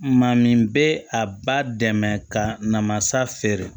Maa min bɛ a ba dɛmɛ ka namasa feere